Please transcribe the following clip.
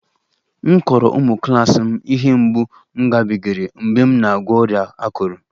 Mụ kọrọ ụmụ klas m ihe mgbu m gabigara mgbe m na-agwọ ọrịa akụrụ